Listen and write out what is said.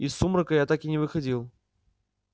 из сумрака я так и не выходил